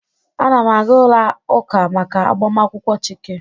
A na m aga ụlọ ụka maka agbamakwụkwọ Chike